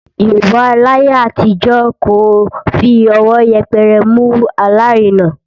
Yorùbá láyé àtijọ́ kò fi ọwọ́ yẹpẹrẹ mú alárinà